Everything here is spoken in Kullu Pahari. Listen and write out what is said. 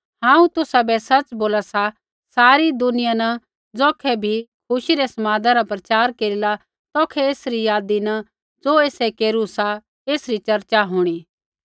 हांऊँ तुसाबै सच़ बोला सा सारै दुनिया न ज़ौखै बी खुशी रै समादा रा प्रचार केरिला तौखै एसरी यादी न ज़ो एसै केरू सा एसरी चर्चा होंणी